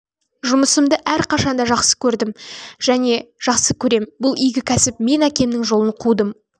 жұмысымды әрқашанда жақсы көрдім және жақсы көрем бұл игі кәсіп мен әкемнің жолын қудым ол